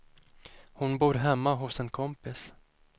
Hon bor hemma hos en kompis.